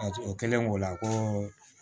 A o kɛlen o la ko